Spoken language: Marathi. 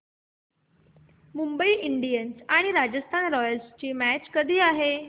मुंबई इंडियन्स आणि राजस्थान रॉयल्स यांची मॅच कधी आहे